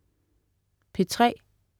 P3: